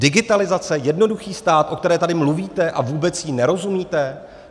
Digitalizace, jednoduchý stát, o které tady mluvíte a vůbec jí nerozumíte?